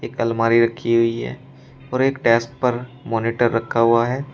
अलमारी रखी हुई है और एक डेस्क पर मॉनिटर रखा हुआ है।